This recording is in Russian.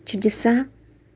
чудеса